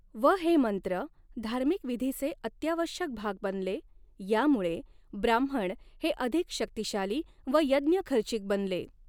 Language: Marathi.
व हे मंत्र धार्मिक विधीचे अत्यावश्यक भाग बनले यामुळे ब्राह्मण हे अधिक शक्तीशाली व यज्ञ खर्चिक बनले.